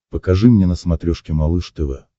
покажи мне на смотрешке малыш тв